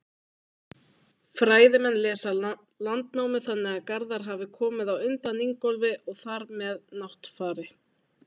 Fræðimenn lesa Landnámu þannig að Garðar hafi komið á undan Ingólfi og þar með Náttfari.